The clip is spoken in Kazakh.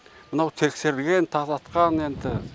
мынау тексерілген тазартқан енді